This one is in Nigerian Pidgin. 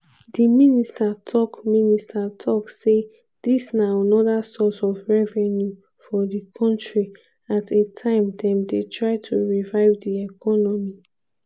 di minister tok minister tok say dis na anoda source of revenue for di kontri at a time dem dey try to revive di economy.